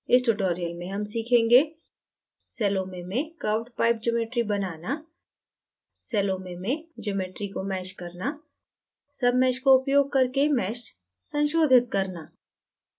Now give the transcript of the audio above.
इस tutorial में हम सीखेंगे: